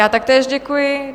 Já také děkuji.